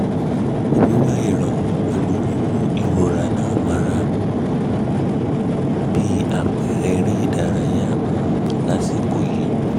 wíwá ìrànwọ́ pẹ̀lú mímú ìrora ńà mọ́ra (yàtọ̀ sí òògùn) bí àpẹẹrẹ eré ìdárayá um lásìkò yìí um